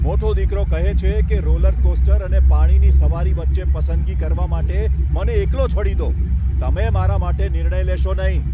મોટો દીકરો કહે છે કે, રોલરકોસ્ટર અને પાણીની સવારી વચ્ચે પસંદગી કરવા માટે 'મને એકલો છોડી દો', તમે મારા માટે નિર્ણય લેશો નહીં.